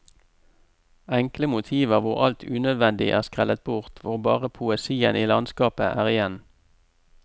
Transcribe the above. Enkle motiver hvor alt unødvendig er skrellet bort, hvor bare poesien i landskapet er igjen.